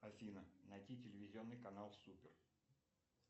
афина найти телевизионный канал супер